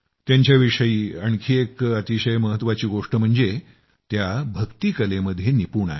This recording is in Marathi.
त्यांच्याविषयी आणखी एक अतिशय महत्वाची गोष्ट म्हणजे त्या भक्ती कलेमध्ये निपुण आहेत